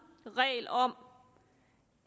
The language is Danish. regel om